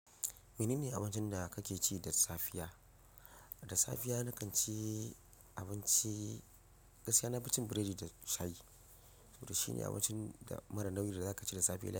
Mene ne abincin da kake ci da safiya? Da safiya na kan ci abinci, gaskiya na fi cin biredi da shayi. To shine abincin da mara nauyi da za ka ci da safiyar yau.